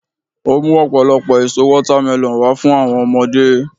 o mu ọpọlọpọ èso watermelon wa fún àwọn ọmọdé